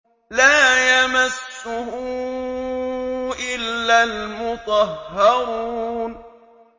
لَّا يَمَسُّهُ إِلَّا الْمُطَهَّرُونَ